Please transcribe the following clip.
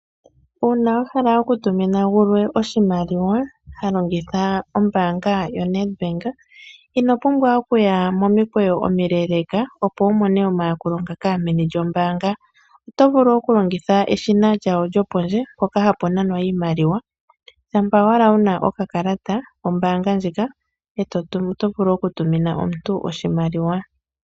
Uuna wahala oku tumina omuntu gontumba iimaliwa ngoka ha longitha ombaanga ndjoka haku tiwa oNet bank ihe ngoye inohala okuya momikweyo omileeleeka dhoka hadhi kala meni lyombaanga opo wumone eyakulo, oto vulu okulongitha omashina ngoka haga kala pondje mpoka hapu nanwa iimaliwa shampa ashike wuna okakalata koye kombaanga ndjika oto vulu nee okutuma iimaliwa tolongitha omashina ngoka.